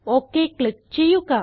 okay click ചെയ്യുക